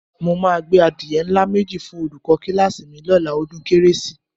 Mo máa gbé adìye ńlá méjì fún olùkọ́ kíláàsì mi lọ́la ọdún kérésì